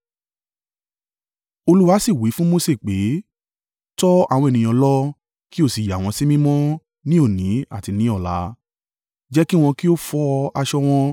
Olúwa sì wí fún Mose pé, “Tọ àwọn ènìyàn lọ kí o sì yà wọ́n sí mímọ́ ni òní àti ni ọ̀la. Jẹ́ kí wọn kí ó fọ aṣọ wọn.